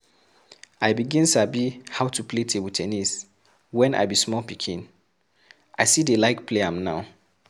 I begin sabi how to play table ten nis when I be small pikin, I still dey like play am now